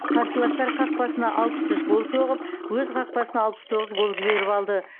қарсыластар қақпасына алпыс үш гол соғып өз қақпасына алпыс тоғыз гол жеберіп алды